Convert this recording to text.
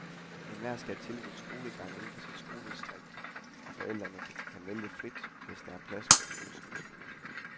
Enhver skal have tilbudt skolegang inden for sit skoledistrikt, og forældre kan vælge frit, hvis der er plads på den ønskede skole.